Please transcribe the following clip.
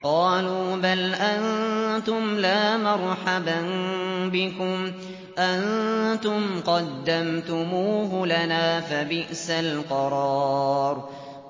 قَالُوا بَلْ أَنتُمْ لَا مَرْحَبًا بِكُمْ ۖ أَنتُمْ قَدَّمْتُمُوهُ لَنَا ۖ فَبِئْسَ الْقَرَارُ